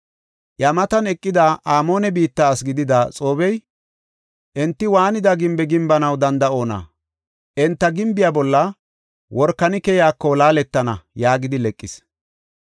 Iya matan eqida Amoone biitta asi gidida Xoobbey, “Enti waanida gimbe gimbanaw danda7oona? Enti gimbiya bolla workani keyako laaletana” yaagidi leqis.